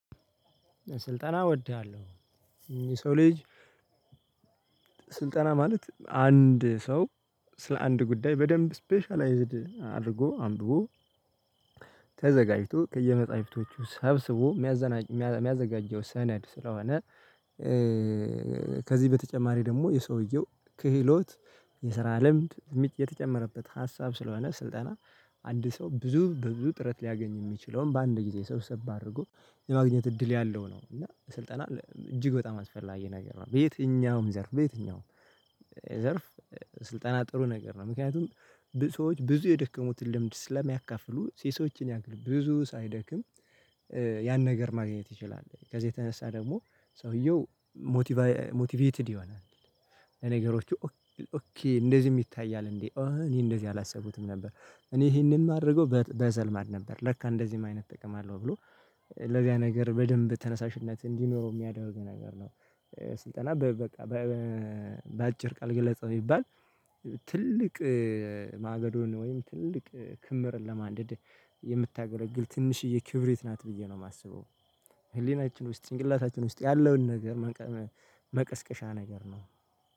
ስልጠና እወድሃለሁ የሰው ልጅ ስልጠና ማለት አንድ ሰው ስለ አንድ ጉዳይ በደንብ ስፔሻላይዝድ አድርጎ አምብቦ ተዘጋጅቶ ከየመጽሐፍቶቹ ሰብስቦ የሚያዘጋጀው ሰነድ ስለሆነ። ከዚህ በተጨማሪ ደግሞ የሰውየው ክህሎት የስራ ልምድ የተጨመረበት ሀሳብ ስለሆነ ስልጠና አንድ ሰው ብዙ ብዙ ጥረት ሊያገኝ የሚችለውን በአንድ ጊዜ ሰብሰብ አድርጎ የማግኘት እድል ያለው ነው። እና ስልጠና እጅግ በጣም አስፈላጊ ነገር ነው። በየትኛውም ዘርፍ በየትኛውም ዘርፍ ስልጠና ጥሩ ነገር ነው። ምክንያቱም ብዙ ሰዎች ብዙ የደከሙትን ልምድ ስለሚያካፍሉ ሴሶችን ያክል ብዙ ሳይደክም ያን ነገር ማግኘት ይችላል። ከዛ የተነሳ ደግሞ ሰውየው ሞቲቫይ ሞቲቬትድ ይሆናል። በነገሮች እንደዚህ ይታያል እንዴ? እኔ እንደዚህ አላሰቡትም ነበር እኔ ይሄንን ማድረገው በዘልማድ ነበር ለካ እንደዚህም አይነት እጠቀማለሁ ብሎ እእ ለዚያ ነገር በደንብ ተነሳሽነት እንዲኖረው የሚያደርገው ነገር ነው። ስልጠና በቃ። በአጭር ቃል ግለጸው ቢባል? ትልቅ ማገዶን ወይም ትልቅ ክምርን ለማንደድ የምታገለግል ትንሽዬ ክብሪት ናት ብዬ ነው የማስበው። ህሊናችን ውስጥ ጭንቅላታችን ውስጥ ያለውን ነገር መቀስቀሻ ነገር ነው።